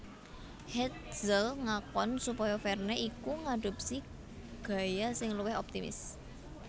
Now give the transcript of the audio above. Hetzel ngakon supaya Verne iku ngadopsi gaya sing luwih optimis